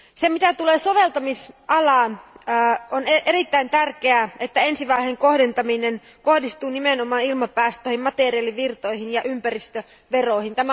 Mitä tulee soveltamisalaan, on erittäin tärkeää, että ensivaiheen kohdentaminen kohdistuu nimenomaan ilmapäästöihin, materiaalivirtoihin ja ympäristöveroihin.